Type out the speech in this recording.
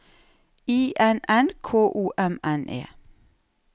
I N N K O M N E